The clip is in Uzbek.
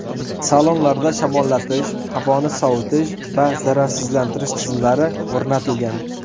Salonlarda shamollatish, havoni sovitish va zararsizlantirish tizimlari o‘rnatilgan.